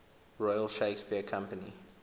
royal shakespeare company